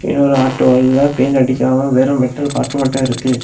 இங்க ஒரு ஆட்டோவுல பெயிண்ட் அடிக்கிறாங்க வெறு வெர்டல் பார்ட் மட்டு இருக்கு.